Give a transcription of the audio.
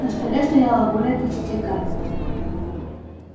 на столе стояло более тридцати карт